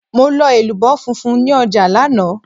Mo lọ elubo funfun ní ọjà lánàá.